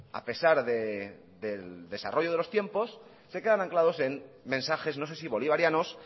a pesar del desarrollo de los tiempos se quedan anclados en mensajes no sé si bolivarianos